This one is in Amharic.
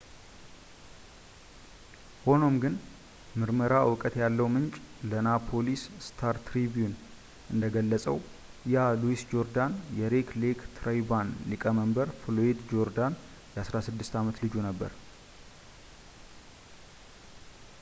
ሆኖም ግን ምርመራ እውቀት ያለው ምንጭ ለናፖሊስ ስታር-ትሪቢውን እንደገለፀው ያ ሉዊስ ጆርዳን የሬድ ሌክ ትራይባል ሊቀመንበር ፍሎያድ ጆርዳን የ16 ዓመት ልጁ ነበር